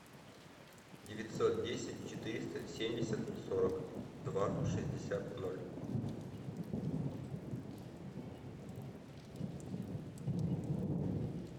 девятьсот десять четыреста семьдесят сорок два шестьдесят ноль